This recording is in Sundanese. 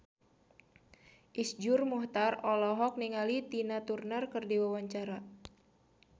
Iszur Muchtar olohok ningali Tina Turner keur diwawancara